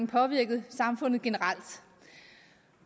påvirket samfundet generelt